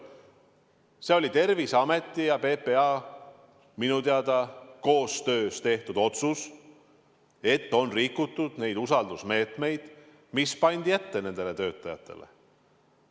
See oli minu teada Terviseameti ja PPA koostöös tehtud otsus, et on rikutud usaldusmeetmeid, mis nendele töötajatele ette pandi.